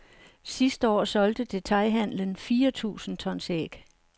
Sidste år solgte detailhandelen fire tusind tons æg.